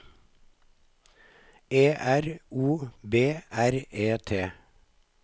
E R O B R E T